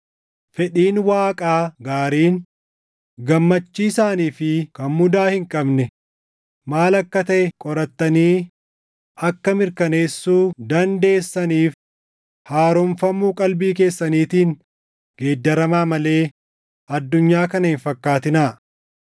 Fedhiin Waaqaa gaariin, gammachiisaanii fi kan mudaa hin qabne maal akka taʼe qorattanii akka mirkaneessuu dandeessaniif haaromfamuu qalbii keessaniitiin geeddaramaa malee addunyaa kana hin fakkaatinaa.